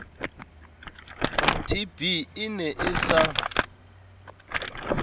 tb e ne e sa